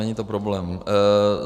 Není to problém.